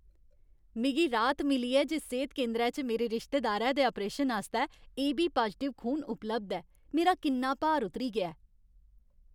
मिगी राह्त मिली ऐ जे सेह्त केंदरै च मेरे रिश्तेदारै दे आपरेशन आस्तै ए बी पाजटिव खून उपलब्ध ऐ। मेरा किन्ना भार उतरी गेआ ऐ।